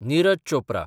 Niraj Chopra